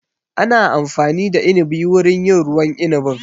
Ana amfani da inibi wurin yin ruwan inibin